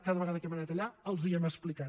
cada vegada que hem anat allà els ho hem explicat